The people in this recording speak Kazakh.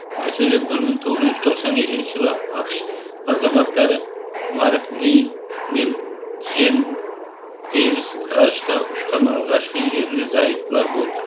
мәселен бір мың тоғыз жүз тоқсан екінші жылы ақш азаматтары марк ли мен джен дейвис ғарышқа ұшқан алғашқы ерлі зайыптылар болды